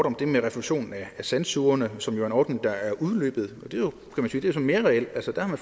om det med refusion af sandsugerne som jo er en ordning der er udløbet og mere reelt der har